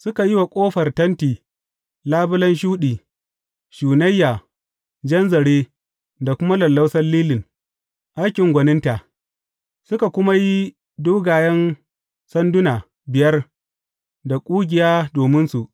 Suka yi wa ƙofar tenti labulen shuɗi, shunayya, jan zare, da kuma lallausan lilin, aikin gwaninta; suka kuma yi dogayen sanduna biyar da ƙugiya dominsu.